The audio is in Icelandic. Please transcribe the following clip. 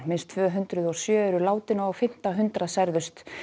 minnst tvö hundruð og sjö eru látin og á fimmta hundrað særðust